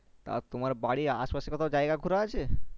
তা তোমার বাড়ির আসে পাশে কোথাও জায়গা ঘোড়া আছে